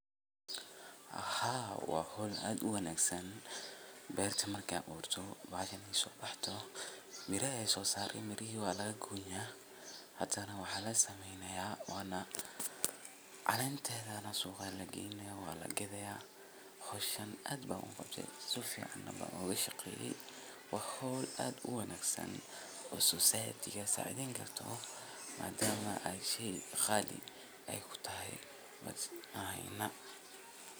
Haa waa hawl aad u wanaagsan, beerta markii ay baxdo oo miraha ay soo saarto, midhihi waa laga goynayaa. Haddana waxa la sameynayaa kala saarid ama sifeyn si loo hubiyo tayada miraha. Ka dib mirahaas waxaa loo diyaarinayaa in suuqa loo diro ama keydin loogu sameeyo meelaha qabowga ah. Waxa kale oo dhici karta in qaar kamid ah miraha la isticmaalo si toos ah, halka kuwa kalena loo isticmaalo warshado si looga sameeyo cuntooyin kale. Hawshan beeraleyda ay qabtaan waa mid muhiim u ah cunnada iyo horumarka dhaqaalaha bulshada.